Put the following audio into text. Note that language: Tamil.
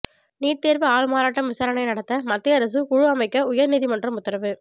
நீட் தேர்வு ஆள்மாறாட்டம் விசாரணை நடத்த மத்திய அரசு குழு அமைக்க உயர் நீதிமன்றம் உத்தரவு